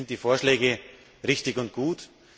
Deswegen sind die Vorschläge richtig und gut.